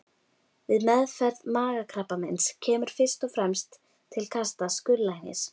Við meðferð magakrabbameins kemur fyrst og fremst til kasta skurðlæknis.